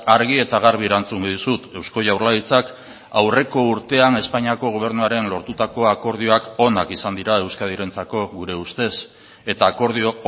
argi eta garbi erantzungo dizut eusko jaurlaritzak aurreko urtean espainiako gobernuaren lortutako akordioak onak izan dira euskadirentzako gure ustez eta akordio